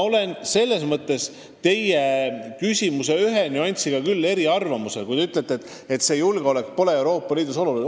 Ühes küsimuses ma olen teiega aga eriarvamusel: te ütlete, et julgeolek pole Euroopa Liidus oluline.